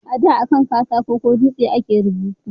A da akan katako ko dutse a ke rubutu